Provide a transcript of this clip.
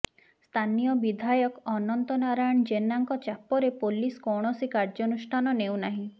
ସ୍ଥାନୀୟ ବିଧାୟକ ଅନନ୍ତ ନାରାୟଣ ଜେନାଙ୍କ ଚାପରେ ପୋଲିସ କୌଣସି କାର୍ୟ୍ୟା ନୁଷ୍ଠାନ ନେଉନାହିଁ